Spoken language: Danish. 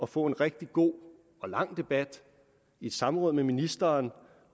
få en rigtig god og lang debat i et samråd med ministeren